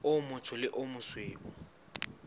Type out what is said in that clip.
o motsho le o mosweu